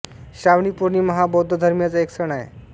श्रावणी पौर्णिमा हा बौद्ध धर्मीयांचा एक सण आहे